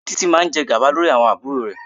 Títí máa jẹ gàba lórí àwọn àbúrò rẹ̀.